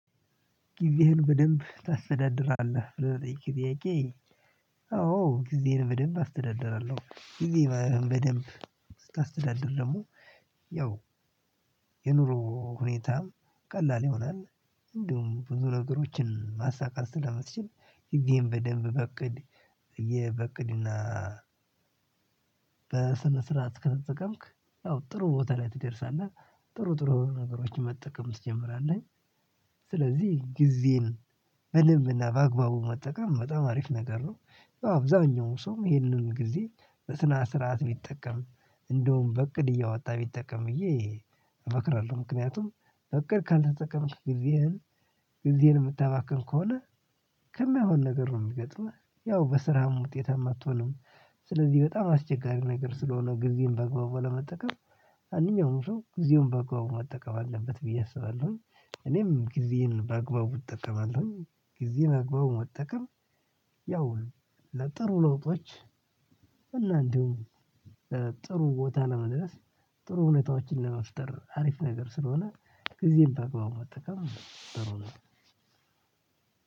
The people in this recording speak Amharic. ጊዜህን በደንብ ታስተዳድራለህ ብለህ ለጠየከኝ ጥያቄ? አዎ ጊዜዬን በደንብ አስተዳድራለሁ ጊዜ በደንብ ስታስተዳድር ደግሞ ያው የኑሮ ሁኔታም ቀላል ይሆናል። እንደውም ብዙ ነገሮችን ማሳካት ስለምትችል ጊዜዬን በደንብ በእቅድ እየ በእቅድና በስነ ስርዓት ከተጠቀምክ ያው ጥሩ ቦታ ላይ ትደርሳለህ። ጥሩ ጥሩ ነገሮችን መጠቀም ትጀምራለህ። ስለዚህ ጊዜን በደንብና በአግባቡ መጠቀም በጣም አሪፍ ነገር ነው። ያው አብዛኛው ሰውም ይህንን ጊዜ በስነ ስርዓት ቢጠቀም እንደውም በእቅድ እያወጣ ቢጠቀም ብዬ እመክራለሁ። ምክንያቱም በእቅድ ካልተጠቀምክ ጊዜህን ጊዜህን የምታባክን ከሆነ ከማይሆን ነገር ነው የሚገጥመህ ያው በስራህም ውጤታም አትሆንም። ስለዚህ በጣም አስቸጋሪ ነገር ስለሆነ ጊዜን በአግባቡ ለመጠቀም ማንኛውም ሰው ጊዜውን በአግባቡ መጠቀም አለበት ብዬ አስባለሁኝ። እኔም ጊዜዬን በአግባቡ እጠቀማለሁ። ጊዜ በአግባቡ መጠቀም ያው ለጥሩ ለውጦች እና እንዲሁም ጥሩ ቦታ ለመድረስ ጥሩ ሁኔታዎችን ለመፍጠር አሪፍ ነገር ስለሆነ። ጊዜን በአግባቡ መጠቀም ጥሩ ነው።